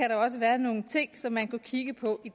der også være nogle ting som man kunne kigge på